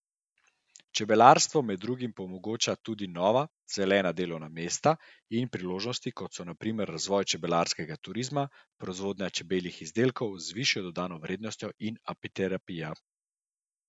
Čebelarstvo med drugim omogoča tudi nova, zelena delovna mesta in priložnosti, kot so na primer razvoj čebelarskega turizma, proizvodnja čebeljih izdelkov z višjo dodano vrednostjo in apiterapija.